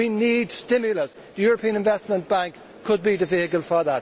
We need stimulus. The European Investment Bank could be the vehicle for that.